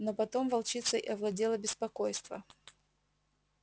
но потом волчицей овладело беспокойство